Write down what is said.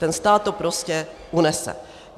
Ten stát to prostě unese.